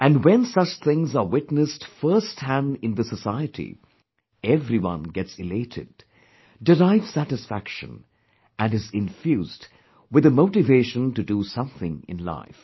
And when such things are witnessed firsthand in the society, then everyone gets elated, derives satisfaction and is infused with motivation to do something in life